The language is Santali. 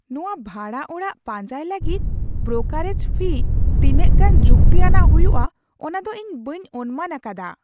ᱱᱚᱶᱟ ᱵᱷᱟᱲᱟ ᱚᱲᱟᱜ ᱯᱟᱸᱡᱟᱭ ᱞᱟᱹᱜᱤᱫ ᱵᱨᱳᱠᱟᱨᱮᱡ ᱯᱷᱤ ᱛᱤᱱᱟᱹᱜ ᱜᱟᱱ ᱡᱩᱠᱛᱤ ᱟᱱᱟᱜ ᱦᱩᱭᱩᱜᱼᱟ ᱚᱱᱟᱫᱚ ᱤᱧ ᱵᱟᱹᱧ ᱚᱱᱢᱟᱱ ᱟᱠᱟᱫᱟ!